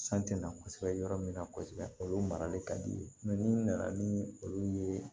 San tɛ na kosɛbɛ yɔrɔ min na kosɛbɛ olu marali ka di ye ni nana ni olu ye